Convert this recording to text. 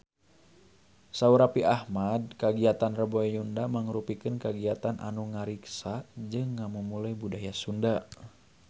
Saur Raffi Ahmad kagiatan Rebo Nyunda mangrupikeun kagiatan anu ngariksa jeung ngamumule budaya Sunda